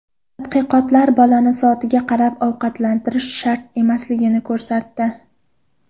Tadqiqotlar bolani soatga qarab ovqatlantirish shart emasligini ko‘rsatdi.